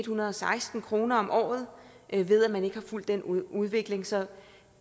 hundrede og seksten kroner om året ved at man ikke har fulgt den udvikling så